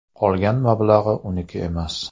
Qolgan mablag‘i uniki emas.